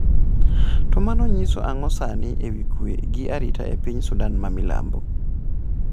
To mano nyiso ang'o sani ewi kwe gi arita e piny Sudan ma Milambo?